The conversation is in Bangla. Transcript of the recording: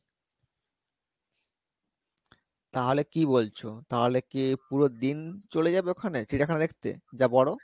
তাহলে কী বলছো তাহলে কী পুরো দিন চলে যাবে ওখানে চিড়িয়াখানা দেখতে যা বড়ো